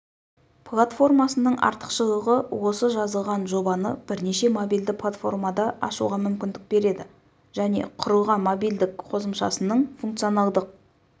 платформасының артықшылығы осы жазылған жобаны бірнеше мобильді платформада ашуға мүмкіндік береді және құрылған мобильдік қосымшасының функционалдық